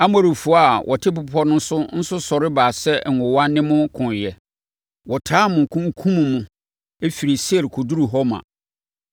Amorifoɔ a wɔte bepɔ no so nso sɔre baa sɛ nwowa ne mo koeɛ. Wɔtaa mo kunkumm mo firii Seir kɔduruu Horma.